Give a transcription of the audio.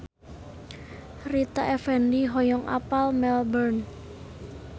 Rita Effendy hoyong apal Melbourne